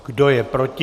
Kdo je proti?